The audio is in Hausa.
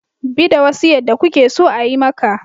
Bi da wasu yadda kuke so a yi maka